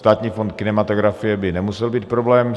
Státní fond kinematografie by nemusel být problém.